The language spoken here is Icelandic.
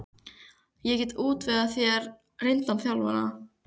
Ég get útvegað þér reyndan þjálfara.